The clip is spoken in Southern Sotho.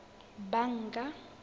banka